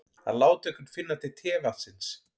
Að láta einhvern finna til tevatnsins